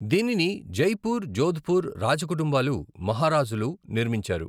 దీనిని జైపూర్, జోధ్పూర్ రాజ కుటుంబాలు, మహారాజులు నిర్మించారు.